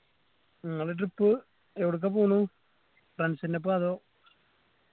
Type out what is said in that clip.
ഇങ്ങളെ trip എവിടുക്ക പോണ് friends ൻ്റെപ്പോ അതോ